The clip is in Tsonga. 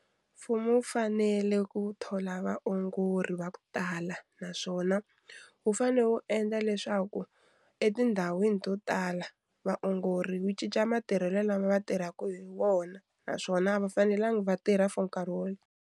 Mfumo wu fanele ku thola vaongori va ku tala naswona wu fanele wu endla leswaku etindhawini to tala vaongori wu cinca matirhelo lama va tirhaka hi wona naswona a va fanelanga va tirha for nkarhi wo.